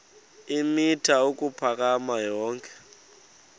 eemitha ukuphakama yonke